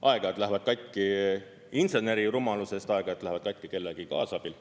Aeg-ajalt lähevad katki inseneri rumalusest, aeg-ajalt lähevad katki kellegi kaasabil.